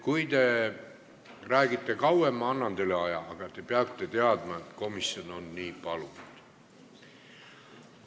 Kui te räägite kauem, siis ma annan teile lisaaega, aga te peate teadma, et komisjon on nii palunud.